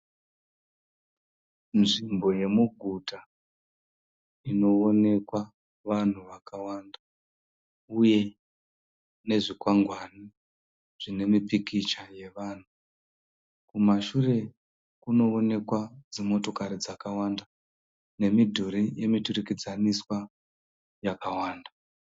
Nzvimbo yemuguta inowonekwa vanhu vakawanda uye nezvikwangwani zvine mipikicha yevanhu. Kumashure kunowonekwa dzimotokari dzakawanda nemidhuri dzemuturikidzaniswa yakawanda.